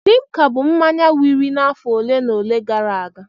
Limka bụ mmanya wiri n'afọ ole na ole gara aga.